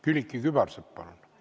Külliki Kübarsepp, palun!